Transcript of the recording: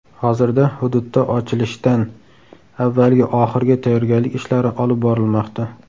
Hozirda hududda ochilishdan avvalgi oxirgi tayyorgarlik ishlari olib borilmoqda.